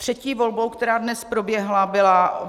Třetí volbou, která dnes proběhla, byl